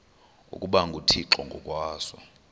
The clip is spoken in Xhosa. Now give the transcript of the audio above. ukuba nguthixo ngokwaso